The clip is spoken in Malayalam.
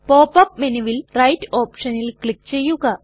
പോപ് അപ് മെനുവിൽ റൈറ്റ് ഓപ്ഷനിൽ ക്ലിക് ചെയ്യുക